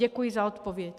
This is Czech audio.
Děkuji za odpověď.